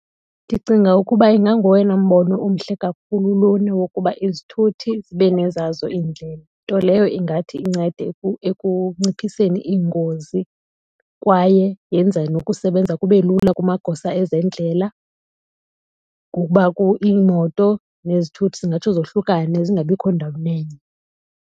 Ndicinga ukuba inganguwona mbono umhle kakhulu lona wokuba izithuthi zibe nezazo iindlela. Nto leyo ingathi incede ekunciphiseni iingozi kwaye yenze nokusebenza kube lula kumagosa ezendlela ngokuba iimoto nezithuthi zingatsho zohlukane zingabikho sendaweni enye.